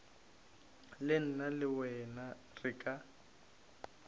nna le wena re ka